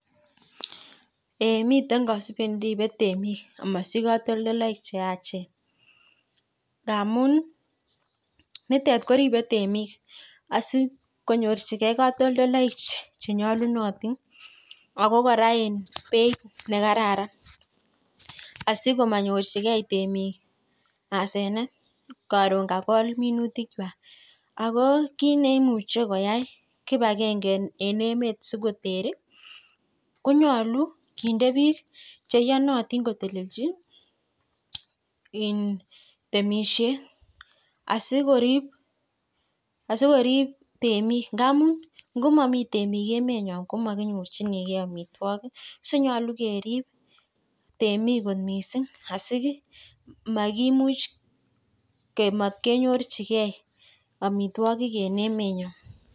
ee miten kosubet neipe temik amosich katoldoiwek cheyachen amuni nitet koribe temik asikonyorchikee katoldoiwek chenyolunotin ako kora en beit nekararn asikomonyorchikee temik asenet koron kakol minutikwak akokitneimuche koyai kipagenge en emet sikoteri konyolu kinde biik cheiyonotin kotelelchi en temishet asikorip temik ngamun ngomomi temik emenyon komkinyorchinkee amitwogik sonyolu kerib temik kot missing asimat kimuch kemot kenyorchikee en emenyon